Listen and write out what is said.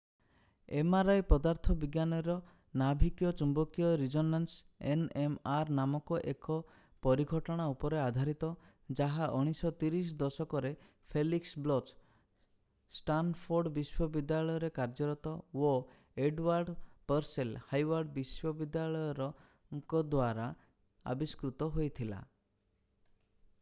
mri ପଦାର୍ଥ ବିଜ୍ଞାନର ନାଭିକୀୟ ଚୂମ୍ବକୀୟ ରିଜୋନାନ୍ସ nmr ନାମକ ଏକ ପରିଘଟଣା ଉପରେ ଆଧାରିତ ଯାହା 1930 ଦଶକରେ ଫେଲିକ୍ସ ବ୍ଲୋଚ୍‍ ଷ୍ଟାନଫୋର୍ଡ ବିଶ୍ୱବିଦ୍ୟାଳୟରେ କାର୍ଯ୍ୟରତ ଓ ଏଡୱାର୍ଡ ପର୍ସେଲ ହାର୍ଭାର୍ଡ ବିଶ୍ୱବିଦ୍ୟାଳୟରଙ୍କ ଦ୍ୱାରା ଆବିଷ୍କୃତ ହୋଇଥିଲା।